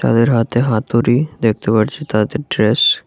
তাদের হাতে হাতুড়ি দেখতে পারচি তাদের ড্রেস --